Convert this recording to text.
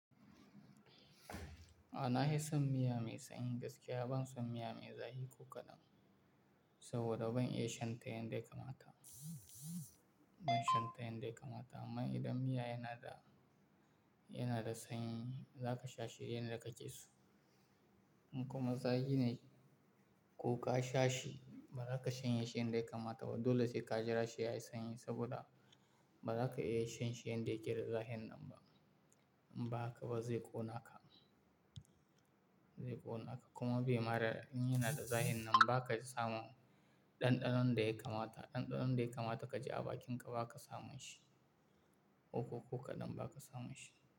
A'a, na fi son miya mai sanyi gaskiya, ban son miya mai zafi ko kaɗan saboda ban iya shan ta yanda ya kamata, ban shan ta yanda ya kamata. Amma idan miya yana da, yana da sanyi, za ka sha shi yanda kake so. Kuma zafi ne ko ka sha shi, ba za ka shanye shi yanda ya kamata ba. Dole sai ka jira shi yayi sanyi saboda ba za ka iya shan shi yanda yake da zafin nan ba. In ba haka ba zai ƙona ka, zai ƙona ka. Kuma bai mada in yana da zafin nan ba ka samun ɗanɗanon da ya kamata. Ɗanɗanon da ya kamata ka ji a bakin ka ba ka samun shi. Koko ko kaɗan ba ka samun shi.